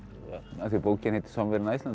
af því bókin heitir Somewhere in Iceland